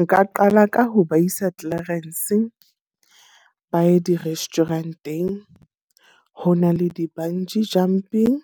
Nka qala ka ho ba isa Clarens, ba ye di-restaurant-eng. Ho na le di-bungee jumping,